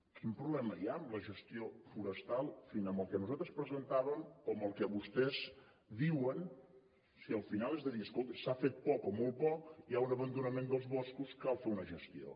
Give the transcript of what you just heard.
quin problema hi ha amb la gestió forestal en el que nosaltres presentàvem o en el que vostès diuen si al final és dir escolti s’ha fet poc o molt poc hi ha un abandonament dels boscos cal fer una gestió